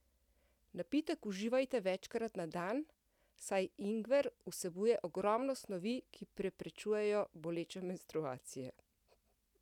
Napitek uživajte večkrat na dan, saj ingver vsebuje ogromno snovi, ki preprečujejo boleče menstruacije.